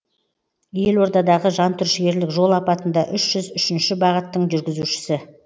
елордадағы жантүршігерлік жол апатында үш жүз үшінші бағыттың жүргізушісі